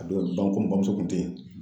A don ba bamuso kun te yen.